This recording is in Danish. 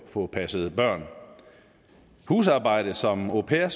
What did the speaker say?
få passet børn husarbejdet som au pairer